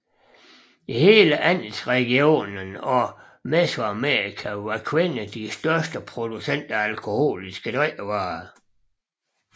I hele Andesregionen og Mesoamerika var kvinder de største producenter af alkoholiske drikkevarer